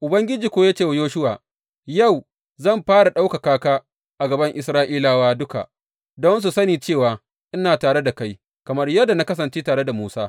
Ubangiji kuwa ya ce wa Yoshuwa, Yau, zan fara ɗaukaka ka a gaban Isra’ilawa duka don su sani cewa ina tare da kai kamar yadda na kasance tare da Musa.